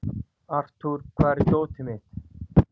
Arthur, hvar er dótið mitt?